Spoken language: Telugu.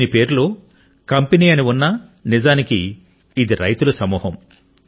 దీని పేరులో కంపెనీ అని ఉన్నా నిజానికి ఇది రైతుల సమూహం